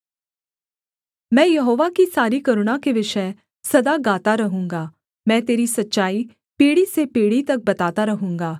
मैं यहोवा की सारी करुणा के विषय सदा गाता रहूँगा मैं तेरी सच्चाई पीढ़ी से पीढ़ी तक बताता रहूँगा